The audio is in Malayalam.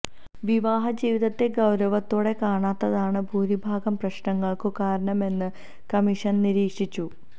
വിവാഹ ജീവിതത്തെ ഗൌരവത്തോടെ കാണാത്തതാണ് ഭൂരിഭാഗം പ്രശ്നങ്ങൾക്കും കാരണമെന്ന് കമ്മിഷൻ നിരീക്ഷിച്ചു